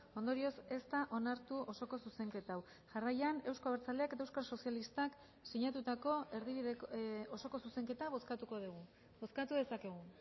ondorioz ez da onartu osoko zuzenketa hau jarraian euzko abertzaleak eta euskal sozialistak sinatutako osoko zuzenketa bozkatuko dugu bozkatu dezakegu